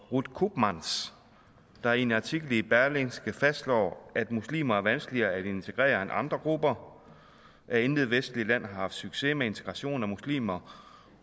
ruud koopmans der i en artikel i berlingske fastslår at muslimer er vanskeligere at integrere end andre grupper at intet vestligt land har haft succes med integration af muslimer